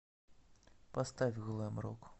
поставь глэм рок